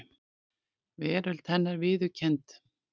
Veröld hennar viðurkennd.